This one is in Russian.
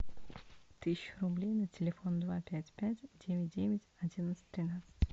тысяча рублей на телефон два пять пять девять девять одиннадцать тринадцать